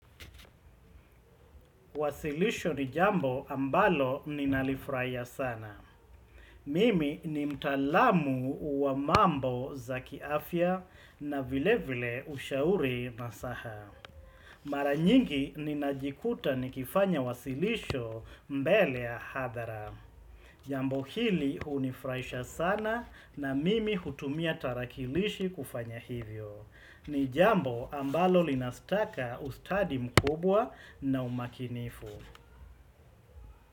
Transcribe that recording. Wasilisho ni jambo ambalo ninalifurahia sana. Mimi ni mtaalamu wa mambo za kiafya na vile vile ushauri nasaha. Mara nyingi ninajikuta ni kifanya wasilisho mbele ya hadhara. Jambo hili hunifurahisha sana na mimi hutumia tarakilishi kufanya hivyo. Ni jambo ambalo linataka ustadi mkubwa na umakinifu.